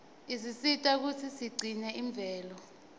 isisita kutsi sigcine imvelo